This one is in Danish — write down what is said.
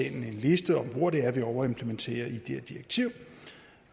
en liste over hvor det er vi overimplementerer i det her direktiv